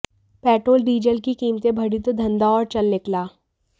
petrol diesel की कीमतें बढ़ी तो धंधा और चल निकला